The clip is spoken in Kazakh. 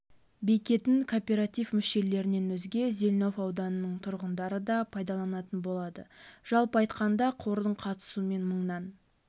бекетін кооператив мүшелерінен өзге зелнов ауданының тұрғындары да пайдаланатын болады жалпы аймақта қордың қатысуымен мыңнан